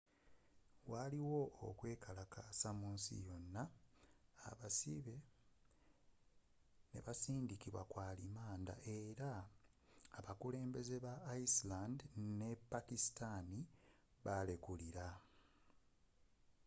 waliwo okwekalakaasa mu nsi yona abasibe nebasindikibwa ku arimanda era abakulembeze ba iceland ne pakisitani ne balekulira